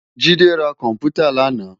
Jide rá kòmpútá làná